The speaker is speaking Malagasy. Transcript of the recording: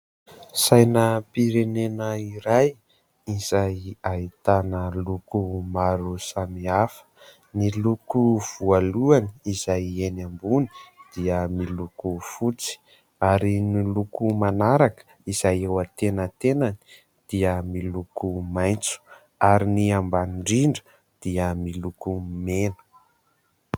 Sainam-pirenena iray izay ahitana loko maro samihafa, ny loko voalohany izay eny ambony dia miloko fotsy ary ny loko manaraka izay eo an-tenatenany dia miloko maitso ary ny ambany indrindra dia miloko mena.